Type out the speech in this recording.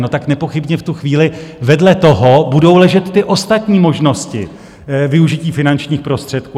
No, tak nepochybně v tu chvíli vedle toho budou ležet ty ostatní možnosti využití finančních prostředků.